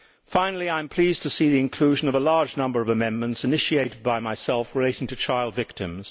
Finally, I am pleased to see the inclusion of a large number of amendments initiated by myself relating to child victims.